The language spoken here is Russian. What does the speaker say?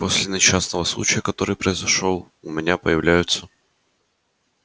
после несчастного случая который произошёл с твоим отцом у меня появляются